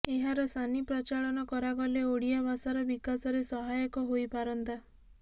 ଏହାର ସାନି ପ୍ରଚଳନ କରାଗଲେ ଓଡ଼ିଆ ଭାଷାର ବିକାଶରେ ସହାୟକ ହୋଇପାରନ୍ତା